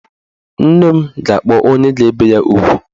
Nne m ga-akpọ onye ga-ebe ya ugwu.